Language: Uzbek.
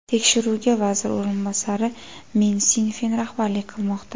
Tekshiruvga vazir o‘rinbosari Men Sinfen rahbarlik qilmoqda.